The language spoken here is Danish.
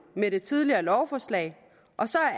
med det tidligere lovforslag og så